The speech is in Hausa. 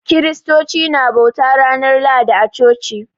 Kiristoci na bauta ranar Lahadi a coci